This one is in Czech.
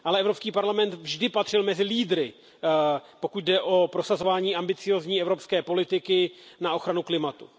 Ale Evropský parlament vždy patřil mezi lídry, pokud jde o prosazování ambiciózní evropské politiky na ochranu klimatu.